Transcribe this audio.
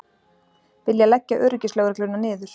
Vilja leggja öryggislögregluna niður